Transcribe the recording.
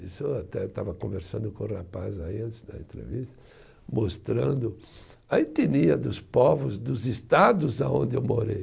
Isso eu até estava conversando com o rapaz aí, antes da entrevista, mostrando a etnia dos povos, dos estados aonde eu morei.